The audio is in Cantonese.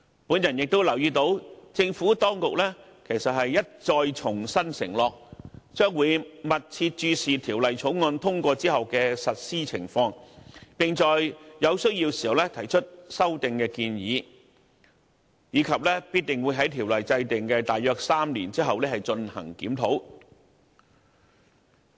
我亦留意到政府當局其實已一再承諾，將會密切注視《條例草案》通過後的實施情況，並在有需要時提出修訂建議，以及必定會在條例制訂的約3年後進行檢討。